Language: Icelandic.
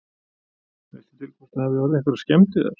Veistu til hvort að það hafi orðið einhverjar skemmdir þar?